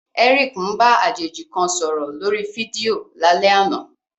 Eric ń bá àjèjì kan sọ̀rọ̀ lórí fídíò lálẹ́ àná.